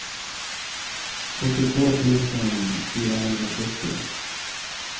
sjuttiotvå tusen fyrahundrasjuttio